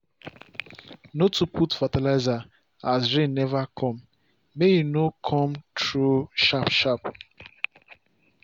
no too put fertilizer as rain never come may e no come throw sharp sharp